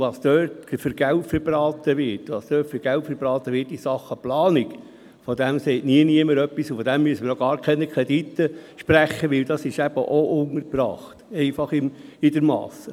Darüber, wie viel Geld dort verbraten wird in Sachen Planung, sagt nie jemand etwas, und dafür müssen wir auch keine Kredite sprechen, denn das ist einfach untergebracht in der Masse.